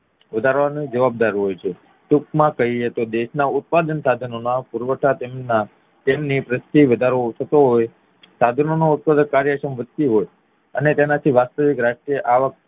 વધારવાની જવાબદાર હોય છે ટૂંકમાં કહીએ તો દેશના ઉત્પાદન સાધનો ના પુરવઠા તેમની પ્રત્યે વધારો થતો હોય સાધનો ની ઉત્પાદક કાર્યશ્રમ વધતી હોય અને તેનાથી વાસ્વિક રાષ્ટ્રીય આવક